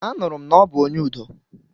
Anụrụ m na ọ bụ onye udo.